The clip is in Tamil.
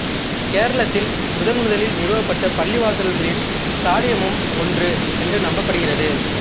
கேரளத்தில் முதன்முதலில் நிறுவப்பட்ட பள்ளிவாசல்களின் சாலியமும் ஒன்று என்று நம்பப்படுகிறது